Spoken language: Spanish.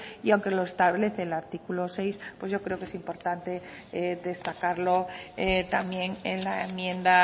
y aunque lo establece el artículo seis yo creo que es importante destacarlo también en la enmienda